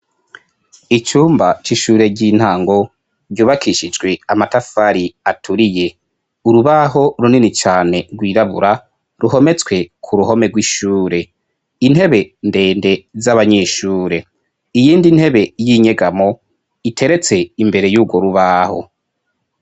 Icumba c'ishure ry'intango ,ryubakishijwe amatafari aturiye , urubaho runini cane rwirabura ruhometswe kuruhome rw'ishure ,intebe ndende z'abanyeshure ,iyindi ntebe y'inyegamo iteretse imbere y'urwo rubaho.